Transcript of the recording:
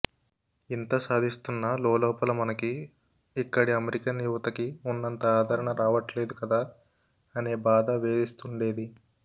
ఇంత సాధిస్తున్నా లోలోపల మనకి ఇక్కడి అమెరికన్ యువతకి ఉన్నంత ఆదరణ రావట్లేదు కదా అనే బాధ వేధిస్తుండేది